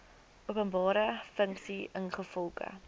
openbare funksie ingevolge